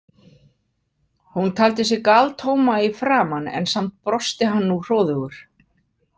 Hún taldi sig galtóma í framan en samt brosti hann nú hróðugur.